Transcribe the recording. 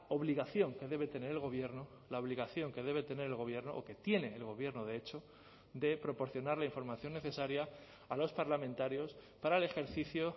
obligación que debe tener el gobierno la obligación que debe tener el gobierno o que tiene el gobierno de hecho de proporcionar la información necesaria a los parlamentarios para el ejercicio